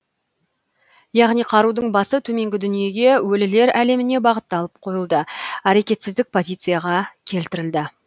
яғни қарудың басы төменгі дүниеге өлілер әлеміне бағытталып қойылды әрекетсіздік позицияға келтірілді